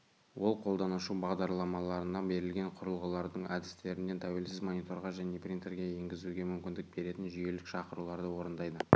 ол қолданушы бағдарламаларына берілген құрылғылардың әдістерінен тәуелсіз мониторға және принтерге енгізуге мүмкіндік беретін жүйелік шақыруларды орындайды